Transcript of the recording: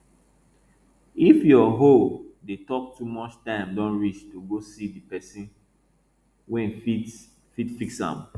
if yua hole dey talk too much time don reach to go see di person wey fit fix am